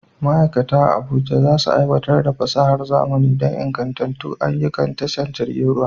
Ma'aikata a Abuja za su aiwatar da fasahar zamani don ingantattun ayyukan tashar jiragen ruwa.